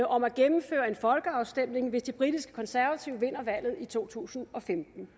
om at gennemføre en folkeafstemning hvis de britiske konservative vinder valget i to tusind og femten